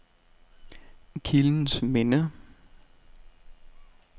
Kildens Minde